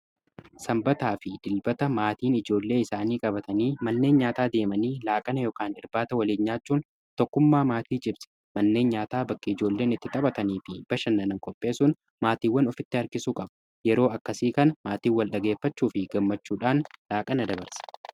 sanbataa fi dilbata maatiin ijoollee isaanii qabatanii malneen nyaataa deemanii laaqana yk irbaata waliin nyaachuun tokkummaa maatii cibse manneen nyaataa bakki ijoolleen itti xaphatanii fi bashannanan kopheesun maatiiwwan ofitti arkisu qabu yeroo akkasii kan maatiiw wal dhageeffachuu fi gammachuudhaan laaqana dabarse